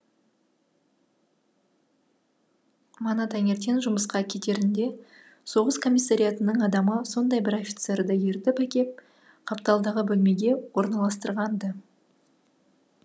мана таңертең жұмысқа кетерінде соғыс комиссариатының адамы сондай бір офицерді ертіп әкеп қапталдағы бөлмеге орналастырған ды